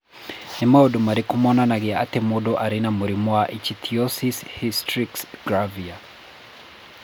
Nĩ maũndũ marĩkũ monanagia atĩ mũndũ arĩ na mũrimũ wa Ichthyosis hystrix gravior?